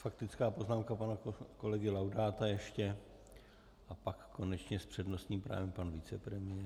Faktická poznámka pana kolegy Laudáta ještě a pak konečně s přednostním právem pan vicepremiér.